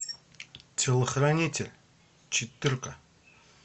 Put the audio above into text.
телохранитель четырка